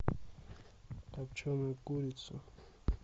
копченая курица